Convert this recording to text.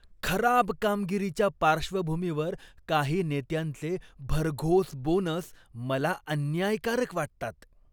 खराब कामगिरीच्या पार्श्वभूमीवर काही नेत्यांचे भरघोस बोनस मला अन्यायकारक वाटतात.